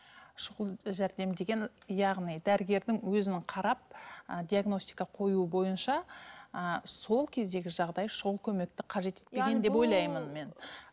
шұғыл жәрдем деген яғни дәрігердің өзінің қарап ы диагностика қоюы бойынша ыыы сол кездегі жағдай шұғыл көмекті қажет етпеген деп